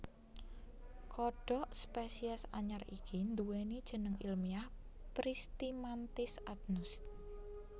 Kodhok spesies anyar iki nduwèni jeneng ilmiah Pristimantis adnus